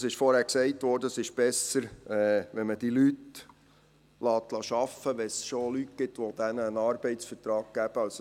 Es wurde vorhin gesagt, es sei besser, solche Leute arbeiten zu lassen, wenn es denn schon Leute gebe, die ihnen einen Arbeitsvertrag gäben.